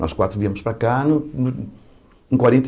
Nós quatro viemos para cá. No no quarenta